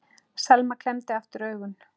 Selma klemmdi aftur augun.